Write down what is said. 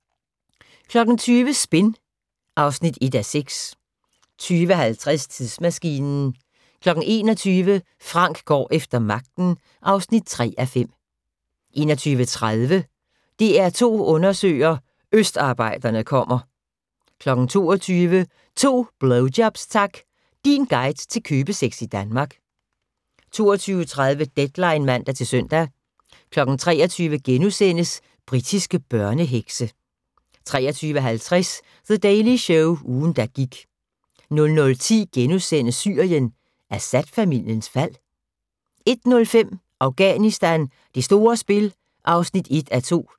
20:00: Spin (1:6) 20:50: Tidsmaskinen 21:00: Frank går efter magten (3:5) 21:30: DR2 undersøger: Østarbejderne kommer 22:00: To blowjobs tak! Din guide til købesex i Danmark. 22:30: Deadline (man-søn) 23:00: Britiske børnehekse * 23:50: The Daily Show – ugen der gik 00:10: Syrien: Assad-familiens fald? * 01:05: Afghanistan: Det store spil (1:2)